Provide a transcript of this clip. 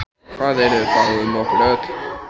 Hvað yrði þá um okkur öll?